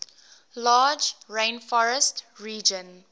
large rainforest region